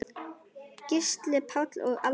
Gísli Páll og Alda.